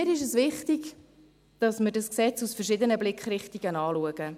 Mir ist es wichtig, dass wir dieses Gesetz aus verschiedenen Blickrichtungen anschauen.